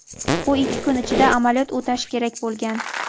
U ikki kun ichida amaliyot o‘tashi kerak bo‘lgan.